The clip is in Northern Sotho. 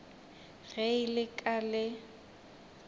ge e le ka le